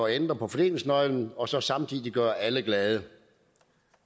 ændre på fordelingsnøglen og så samtidig gøre alle glade